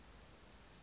ena ke e nngwe ya